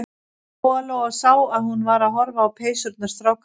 Lóa-Lóa sá að hún var að horfa á peysurnar strákanna.